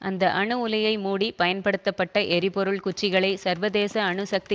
அந்த அணு உலையை மூடி பயன்படுத்தப்பட்ட எரிபொருள் குச்சிகளை சர்வதேச அணு சக்தி